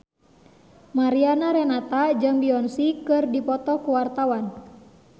Mariana Renata jeung Beyonce keur dipoto ku wartawan